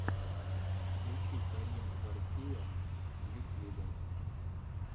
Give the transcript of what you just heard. включи карину гарсия в ютьюбе